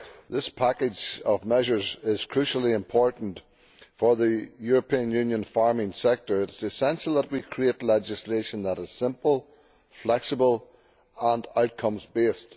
This package of measures is crucially important for the European Union farming sector. It is essential that we create legislation that is simple, flexible and outcomes based.